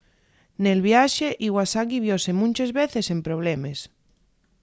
nel viaxe iwasaki viose munches veces en problemes